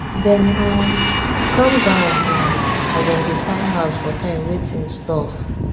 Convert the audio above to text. dem um calm down um as dem dey find house for time wey things tough